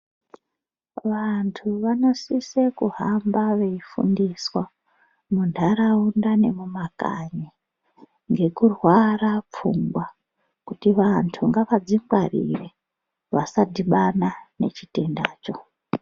Vantu vano sise kuhamba vei fundiswa mu ndaraunda ne muma kanyi ngeku rwara pfungwa kuti vantu ngavadzi ngwarire vasadhibana ne chitenda cho.